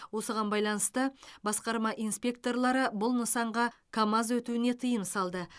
осыған байланысты басқа инспекторлары бұл нысанға камаз өтуіне тыйым салды